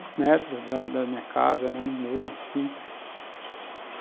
Uns duzentos metros da da minha casa, era no morro, assim.